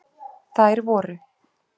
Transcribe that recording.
Þær voru: